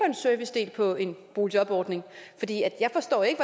en servicedel på en boligjordning jeg forstår ikke